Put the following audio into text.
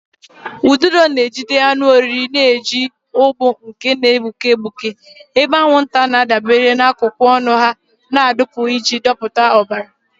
Ududo na-ejide anụ oriri na-eji ụgbụ nke na-egbuke egbuke, ebe anwụnta na-adabere na akụkụ ọnụ ha na-adụpu iji dọpụta ọbara.